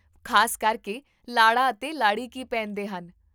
ਖ਼ਾਸ ਕਰਕੇ, ਲਾੜਾ ਅਤੇ ਲਾੜੀ ਕੀ ਪਹਿਨਦੇ ਹਨ?